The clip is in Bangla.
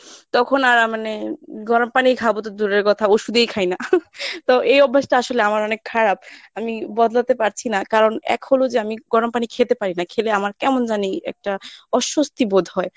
তখন আর উম মানে গরম পানি খাব তো দূরের কথা ওষুধেই খাই না তো এই অভ্যাসটা আসলে আমার অনেক খারাপ। আমি বদলাতে পারছি না কারণ এখন হল যে আমি গরম পানি খেতে পারি না খেলে আমার কেমন জানি একটা অস্বস্তি বোধ হয়।